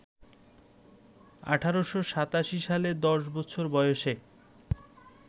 ১৮৮৭ সালে দশ বছর বয়সে